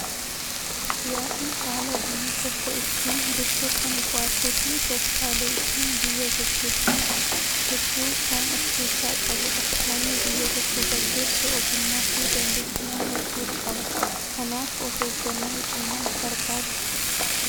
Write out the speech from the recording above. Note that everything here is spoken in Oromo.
Siyaasni haala biyyi tokko ittiin bultu kan qo'atuu fi tooftaalee ittiin biyya gaggeessan hedduu kan of keessaa qabudha. Namni biyya tokko gaggeessu ogummaa fi dandeettiiwwan hedduu qaba. Kanaaf of eeggannoo cimaa barbaada.